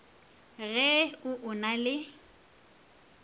ge o o na le